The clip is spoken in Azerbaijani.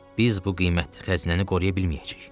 Biz bu qiymətli xəzinəni qoruya bilməyəcəyik.